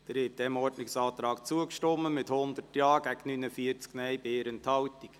Sie haben diesem Ordnungsantrag zugestimmt mit 100 Ja- gegen 49 Nein-Stimmen bei 1 Enthaltung.